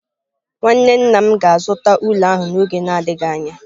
Nwanne nna m ga-azụta ụlọ ahụ n'oge na-adịghị anya.